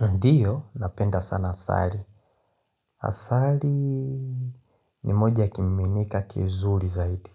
Ndiyo, napenda sana asali. Asali ni moja kimiminika kizuri zaidi.